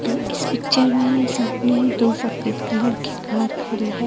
इस पिक्चर में सामने ही दो सफेद कलर की कार खड़ी है।